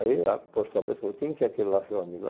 Aí ela por sua vez falou, quem é aquele lá seu amigo?